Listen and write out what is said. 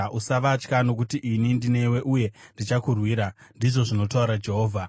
Usavatya, nokuti ini ndinewe uye ndichakurwira,” ndizvo zvinotaura Jehovha.